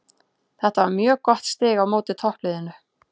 Þetta var mjög gott stig á móti toppliðinu.